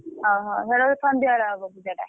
ଓହୋ! ସେଟା ବୋଧେ ସନ୍ଧ୍ୟାବେଳେ ହବ ପୂଜା ଟା।